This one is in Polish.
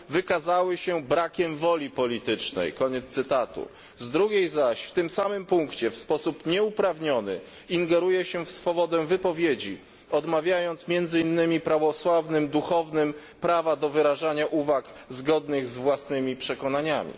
wykazały się brakiem woli politycznej, z drugiej zaś strony w tym samym punkcie w sposób nieuprawniony ingeruje się w swobodę wypowiedzi, odmawiając między innymi prawosławnym duchownym prawa do wyrażania uwag zgodnych z własnymi przekonaniami.